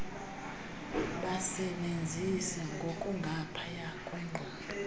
basebenzise ngokungaphaya kweqondo